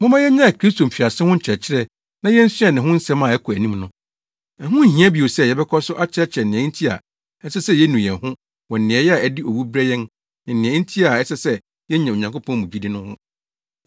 Momma yennyae Kristo mfiase ho nkyerɛkyerɛ na yensua ne ho nsɛm a ɛkɔ anim no. Ɛho nhia bio sɛ yɛbɛkɔ so akyerɛkyerɛ nea enti a ɛsɛ sɛ yenu yɛn ho wɔ nneyɛe a ɛde owu brɛ yɛn ne nea enti a ɛsɛ sɛ yenya Onyankopɔn mu gyidi no ho.